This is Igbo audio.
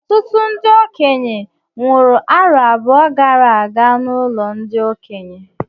Ọtụtụ ndị okenye nwụrụ arọ abụọ gara aga n'ụlọ ndị okenye